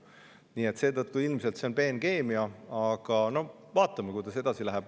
Nii et seetõttu ilmselt on see peenkeemia, aga vaatame, kuidas edasi läheb.